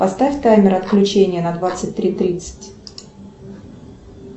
поставь таймер отключения на двадцать три тридцать